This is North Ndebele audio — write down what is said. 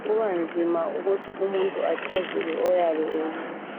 Kubanzima ukuthi achazele oyabe ebuza.